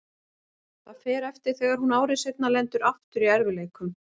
Það fer eftir þegar hún ári seinna lendir aftur í erfiðleikum.